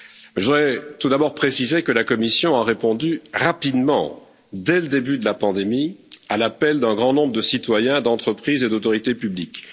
Je voudrais tout d'abord préciser que la Commission a répondu rapidement, dès le début de la pandémie, à l'appel d'un grand nombre de citoyens, d'entreprises et d'autorités publiques.